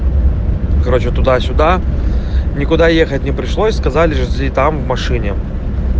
короче туда-сюда никуда ехать не пришлось сказали жди там в машине